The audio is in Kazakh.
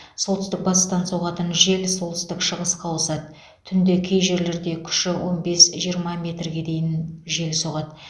солтүстік батыстан соғатын жел солтүстік шығысқа ауысады түнде кей жерлерде күші он бес жиырма метрге дейін жел соғады